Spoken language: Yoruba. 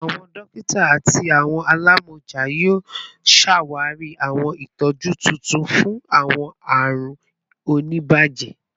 Awọn dokita ati awọn alamọja yoo ṣawari awọn itọju tuntun fun awọn arun onibaje